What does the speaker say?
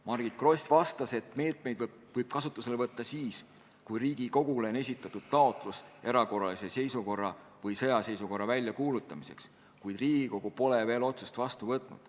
Margit Gross vastas, et meetmeid võib kasutusele võtta juba siis, kui Riigikogule on esitatud taotlus erakorralise seisukorra või sõjaseisukorra väljakuulutamiseks, kuid Riigikogu pole veel otsust vastu võtnud.